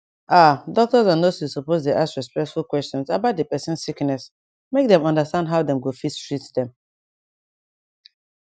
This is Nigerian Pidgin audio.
ah doctors and nurses suppose dey ask respectful questions about dey person sickness make dem understand how dem go fit treat dem